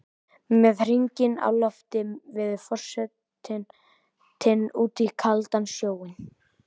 Með hringinn á lofti veður forsetinn út í kaldan sjóinn.